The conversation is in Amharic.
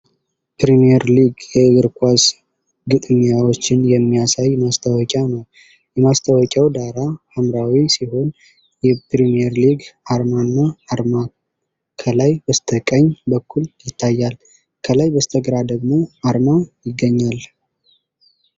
"ፕሪምየር ሊግ"የእግር ኳስ ግጥሚያዎችን የሚያሳይ ማስታወቂያ ነው። የማስታወቂያው ዳራ ሐምራዊ ሲሆን፣ የፕሪምየር ሊግ አርማና አርማ ከላይ በስተቀኝ በኩል ይታያሉ። ከላይ በስተግራ ደግሞ አርማ ይገኛል።